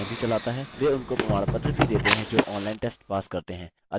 spoken tutorial project spoken tutorials का उपयोग करके कार्यशालाएँ भी चलाता है